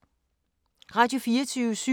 Radio24syv